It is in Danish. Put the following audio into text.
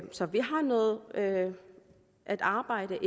så vi har noget at at arbejde